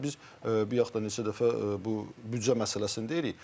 Yəni biz bayaqdan neçə dəfə bu büdcə məsələsini deyirik.